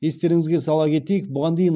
естеріңізге сала кетейік бұған дейін